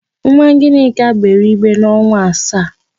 Nwa Gịnịka gbere igbe n'ọnwa asaa.